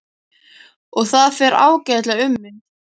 Og það fer ágætlega um mig.